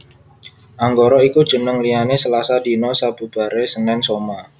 Anggara iku jeneng liyane Slasa dina sabubare Senen Soma